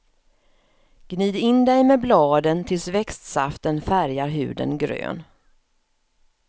Gnid in dig med bladen tills växtsaften färgar huden grön.